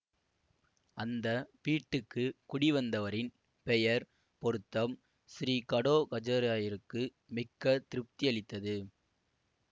அந்த வீட்டுக்கு குடிவந்தவரின் பெயர் பொருத்தம் ஸ்ரீ கடோ கஜராயருக்கு மிக்க திருப்தி அளித்தது